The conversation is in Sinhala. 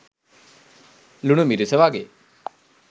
ලුණු මිරිස වගේ